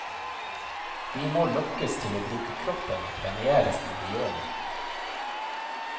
Vi må lokkes til å bruke kroppen og premieres når vi gjør det.